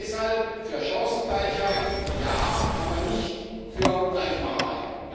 Deshalb für Chancengleichheit ja aber nicht für Gleichmacherei.